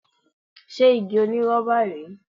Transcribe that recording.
Ṣé igi onírọ́bà rèé?